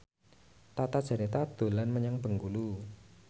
Tata Janeta dolan menyang Bengkulu